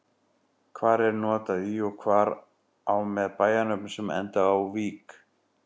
Hvar er notað í og hvar á með bæjarnöfnum sem enda á-vík?